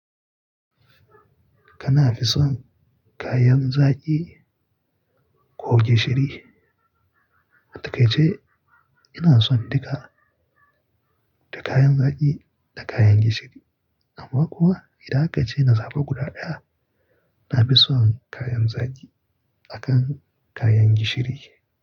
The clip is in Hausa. Kana fi son kayan zaki ko gishiri? Daka ce ina son duka, da kayan zaki da kayan gishiri. Amma kuwa idan aka ce na zaba guda ɗaya, na fi son kayan zaki akan kayan gishiri.